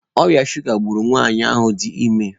Ọrịa shuga gburu nwanyị ahụ dị ime.